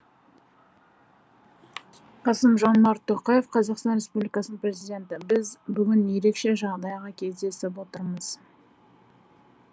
қасым жомарт тоқаев қазақстан республикасының президенті біз бүгін ерекше жағдайға кездесіп отырмыз